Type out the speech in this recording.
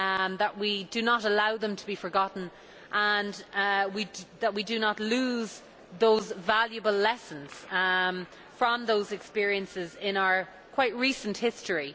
that we do not allow them to be forgotten and that we do not lose those valuable lessons we have learned from those experiences in our quite recent history.